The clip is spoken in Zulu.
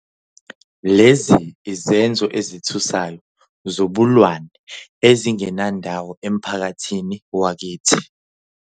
Lezi izenzo ezithusayo zobulwane ezingenandawo emphakathini wakithi.